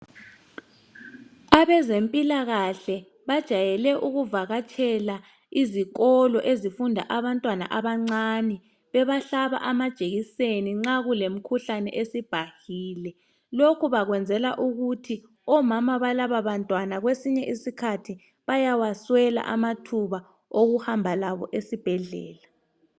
Abezempilakahle bajayele ukuvakatshela izikolo ezifundwa abantwana abancane bebahlaba amajekiseni nxa kulemikhuhlane esibhahile lokhu bakwenzela ukuthi omama balabantwana kwesinye isikhathi bauawaswela amathuba okuhamba labo esibhedlela